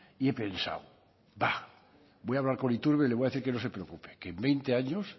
y he pensado voy a hablar con iturbe y le voy a decir que no se preocupe que en veinte años